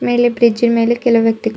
ಇಲ್ಲಿ ಬೀಚಿ ನ ಮೇಲೆ ಕೆಲವು ವ್ಯಕ್ತಿಗಳು.